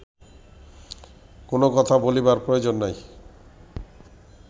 কোন কথা বলিবার প্রয়োজন নাই